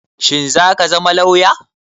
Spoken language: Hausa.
Shin zaka zama lauya?